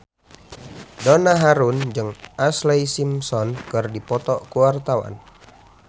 Donna Harun jeung Ashlee Simpson keur dipoto ku wartawan